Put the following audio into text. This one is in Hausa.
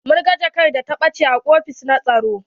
Mun gan jakar da ta ɓache a ofis na tsaro.